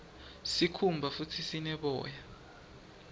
sikhumba futdi sine boya